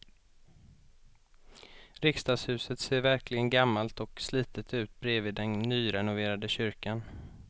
Riksdagshuset ser verkligen gammalt och slitet ut bredvid den nyrenoverade kyrkan.